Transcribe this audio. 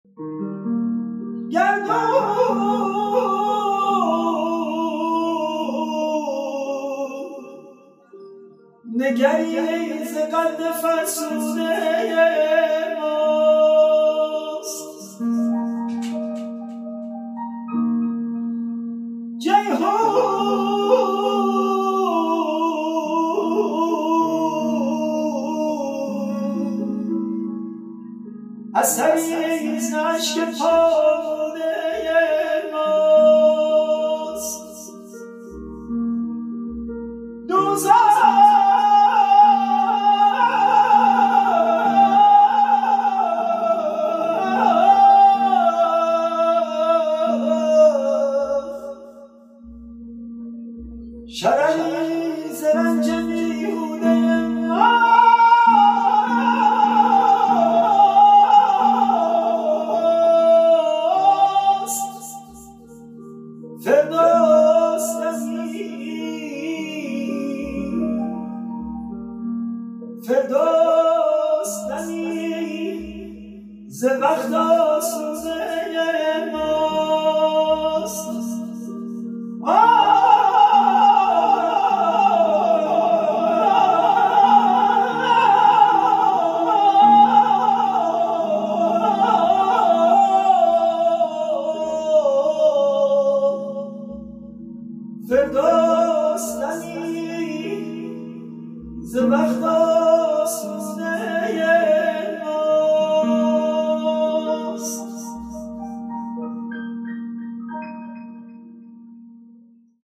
گردون نگری ز قد فرسوده ماست جیحون اثری ز اشک پالوده ماست دوزخ شرری ز رنج بیهوده ماست فردوس دمی ز وقت آسوده ماست